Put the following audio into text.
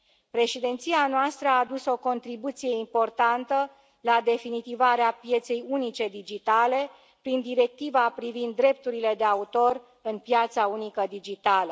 Președinția noastră a adus o contribuție importantă la definitivarea pieței unice digitale prin Directiva privind drepturile de autor în piața unică digitală.